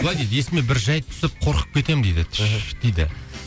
былай дейді есіме бір жайт түсіп қорқып кетемін дейді түш дейді